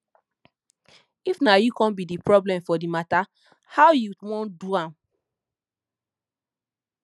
if na yu con be d problem for di mata how you wan do am